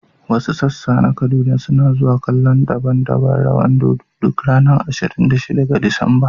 Wasu sassa na Kaduna suna zuwa kallon daban-daban rawan dodo duk ranar ashirin da shida ga Disamba.